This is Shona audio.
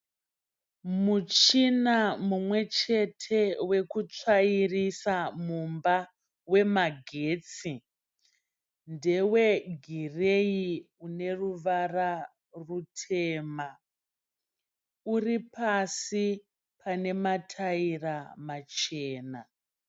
Muchina mumwe chete wekutsvairisa mumba wemagetsi. Ndewegireyi une ruvara rutema. Uri pasi pane mataira machena.